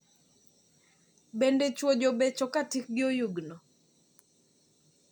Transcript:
Bende chuo jobecho ka tikgi oyugno?